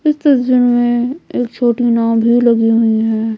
इस तस्वीर में एक छोटी नाव भी लगी हुई है।